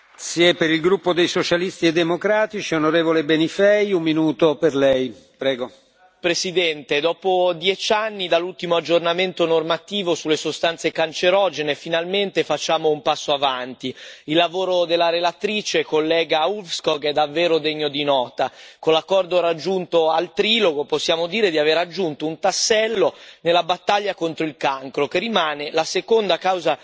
Signor Presidente, onorevoli colleghi, dopo dieci anni dall'ultimo aggiornamento normativo sulle sostanze cancerogene, finalmente facciamo un passo avanti. Il lavoro della relatrice, la collega Ulvskog, è davvero degno di nota. Con l'accordo raggiunto al trilogo possiamo dire di aver aggiunto un tassello nella battaglia contro il cancro, che rimane la seconda causa di morte sul lavoro in Europa, come ricordava bene la Commissaria Thyssen.